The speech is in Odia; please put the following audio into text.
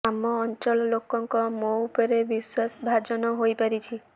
ଆମ ଅଂଚଳ ଲୋକଙ୍କ ମୋ ଉପରେ ବିଶ୍ୱାସ ଭାଜନ ହୋଇପାରିଛି